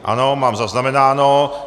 Ano, mám zaznamenáno.